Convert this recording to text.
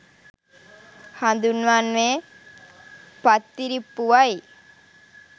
හඳුන්වන්නේ පත්තිරිප්පුවයි.